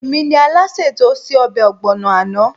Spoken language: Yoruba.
Èmi ni Alásè tí ó se ọbẹ̀ ọ̀gbọ̀nà àná